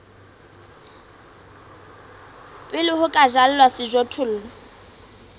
pele ho ka jalwa sejothollo